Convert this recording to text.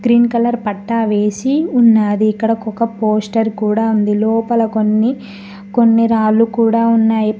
Green colour పట్టా వేసి ఉన్నాది ఇక్కడ ఒక పోస్టర్ కూడా ఉంది లోపల కొన్ని కొన్ని రాళ్ళు కూడా ఉన్నాయి.